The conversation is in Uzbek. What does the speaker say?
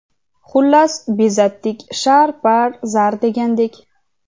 Xullas, bezatdik, shar, par, zar degandek.